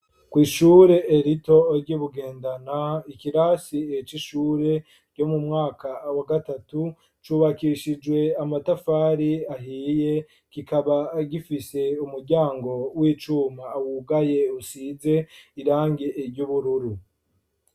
Kw'ishure rito ry'i Bugendana, ikirasi c'ishure ryo mu mwaka wa gatatu, cubakishijwe amatafari ahiye, kikaba gifise umuryango w'icuma wugaye, usize irangi ry'ubururu.